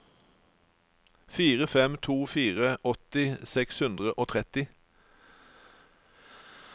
fire fem to fire åtti seks hundre og tretti